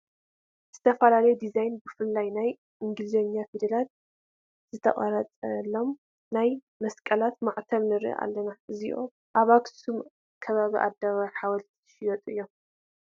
ዝተፈላለየ ዲዛይ ብፍላይ ናይ ኢንግሊዝኛ ፊደል ዝተቐረፀሎም ናይ መሳቕል ማዕተብ ንርኢ ኣለና፡፡ እዚኣቶም ኣብ ኣኽሱም ከባቢ ኣደባባይ ሓወልቲ ዝሽየጡ እዮም፡፡